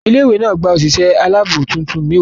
Ilé ìwé náà gba òṣìṣẹ́ aláàbò tuntun mẹ́wàá.